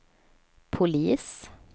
polis